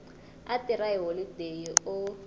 a tirha hi holodeyi u